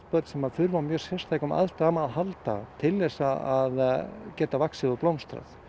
börn sem þurfa á mjög sérstökum aðstæðum að halda til þess að geta vaxið og blómstrað